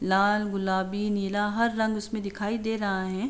लाल गुलाबी नीला हर रंग उसमें दिखा दे रहा है।